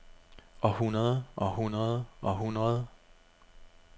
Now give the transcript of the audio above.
århundrede århundrede århundrede